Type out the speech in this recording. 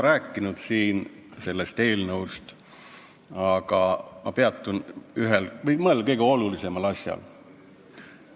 Ma olen juba siin sellest eelnõust rääkinud, aga ma peatun veel mõnel kõige olulisemal asjal.